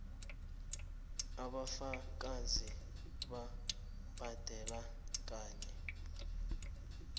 ubufakazi bokubhadela kanye